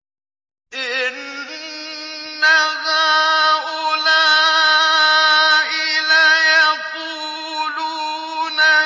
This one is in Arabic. إِنَّ هَٰؤُلَاءِ لَيَقُولُونَ